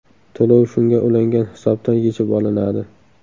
To‘lov shunga ulangan hisobdan yechib olinadi.